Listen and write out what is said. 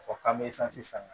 Fɔ k'an bɛ santi san